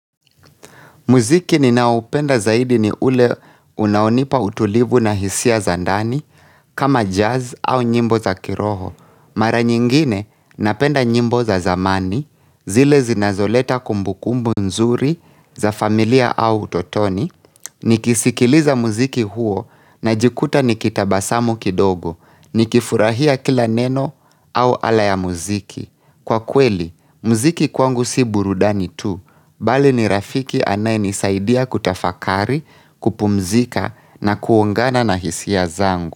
Mziki ninaoupenda zaidi ni ule unaonipa utulivu na hisia za ndani, kama jazz au nyimbo za kiroho. Mara nyingine napenda nyimbo za zamani, zile zinazoleta kumbukumbu nzuri za familia au utotoni. Nikisikiliza muziki huo najikuta ni kitabasamu kidogo, nikifurahia kila neno au ala ya muziki. Kwa kweli, mziki kwangu si burudani tu, bali ni rafiki anaynisaidia kutafakari, kupumzika na kuongana na hisia zangu.